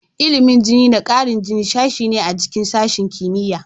Ilimin jini da ƙarin jini sashe ne a cikin sashen kimiyya.